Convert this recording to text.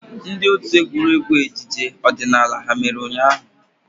Ndị otu egwuregwu ejije odinala ha mere ụnyahụ?